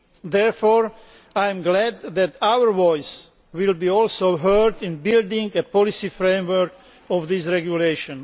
Therefore I am glad that our voice will be also heard in building the policy framework of this regulation.